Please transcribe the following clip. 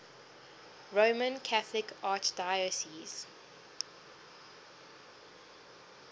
roman catholic archdiocese